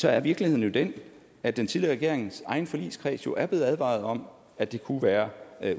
er virkeligheden den at den tidligere regerings egen forligskreds jo er blevet advaret om at det kunne være